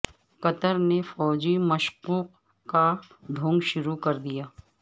قطر نے فوجی مشقوں کا ڈھونگ شروع کر دیا